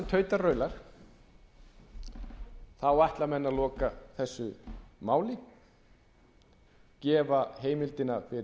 tautar og raular ætla menn að loka þessu máli gefa heimildina fyrir enn